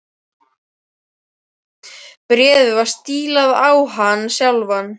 Bréfið var stílað á hann sjálfan.